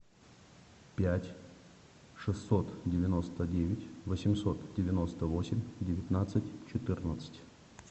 пять шестьсот девяносто девять восемьсот девяносто восемь девятнадцать четырнадцать